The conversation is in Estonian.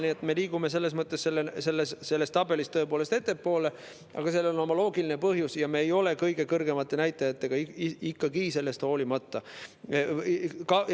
Nii et me liigume selles mõttes selles tabelis tõepoolest ettepoole, aga sellel on oma loogiline põhjus ja me ei ole sellest hoolimata ikkagi kõige kõrgemate näitajatega.